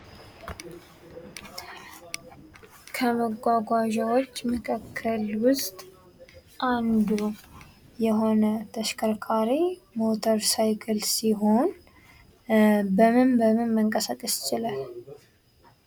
ከመጓጓዣዎች መካከል ውስጥ አንዱ የሆነ ተሽከርካሪ ሞተር ሳይክል ሲሆን በምን በምን መንቀሳቀስ ይችላል?